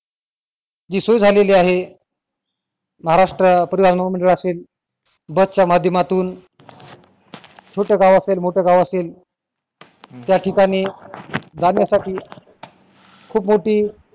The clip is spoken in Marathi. जी सुरु झालेली आहे महाराष्ट परिवहन मंडळ असेल बसच्या माध्यमातून छोट काई असेल मोठं काय असेल त्या ठिकाणी जाण्यासाठी खूप मोठी